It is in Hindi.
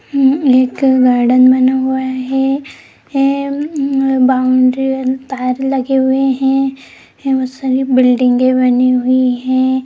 एं एक गार्डन बना हुआ है एं बाउंड्री तारे लगे हुए है बहुत सारी बिल्डिंगे बनी हुई है।